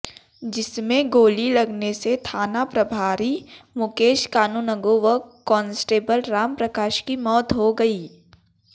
जिसमें गोली लगने से थानाप्रभारी मुकेश कानूनगो व काॅन्स्टेबल रामप्रकाश की मौत हो गई